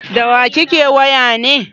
Da wa kake waya ne?